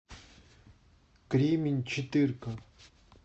кремень четырка